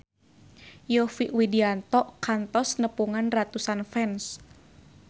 Yovie Widianto kantos nepungan ratusan fans